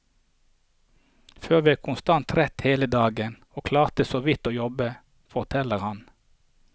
Før var jeg konstant trett hele dagen, og klarte såvidt å jobbe, forteller han.